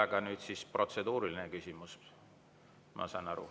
Aga nüüd siis protseduuriline küsimus, ma saan aru.